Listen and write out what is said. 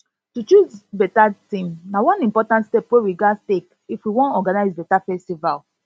to choose beta theme na one important step we ghas take if we wan organize beta festival